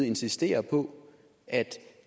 insistere på at